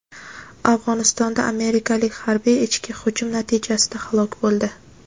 Afg‘onistonda amerikalik harbiy "ichki hujum" natijasida halok bo‘ldi.